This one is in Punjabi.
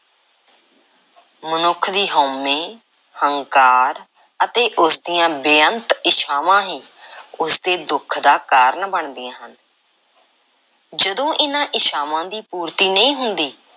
ਮਨੁੱਖ ਦੀ ਹਉਮੈ, ਹੰਕਾਰ ਅਤੇ ਉਸ ਦੀਆਂ ਬੇਅੰਤ ਇੱਛਾਵਾਂ ਹੀ ਉਸ ਦੇ ਦੁੱਖ ਦਾ ਕਾਰਨ ਬਣਦੀਆਂ ਹਨ। ਜਦੋਂ ਇਹਨਾਂ ਇੱਛਾਵਾਂ ਦੀ ਪੂਰਤੀ ਨਹੀਂ ਹੁੰਦੀ,